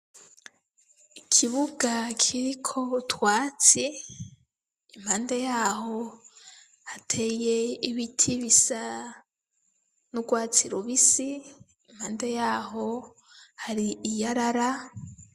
Ikibuga kiriko utwatsi iruhande yaho hateye ibiti bisa nurwatsi rubisi iruhande yaho hari iyarara.